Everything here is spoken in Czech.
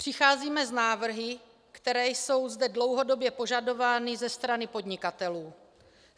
Přicházíme s návrhy, které jsou zde dlouhodobě požadovány ze strany podnikatelů.